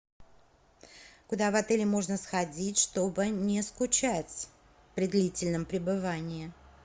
куда в отеле можно сходить чтобы не скучать при длительном пребывании